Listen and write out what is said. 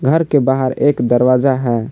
घर के बाहर एक दरवाजा है।